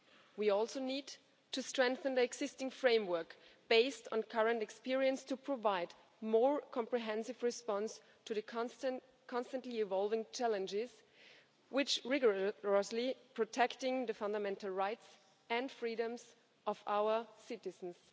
We also need to strengthen the existing framework, based on current experience, to provide more comprehensive response to the constantly evolving challenges which rigorously protect the fundamental rights and freedoms of our citizens.